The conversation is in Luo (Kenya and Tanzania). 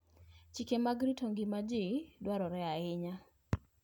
Chike mag rito ngima ji dwarore ahinya.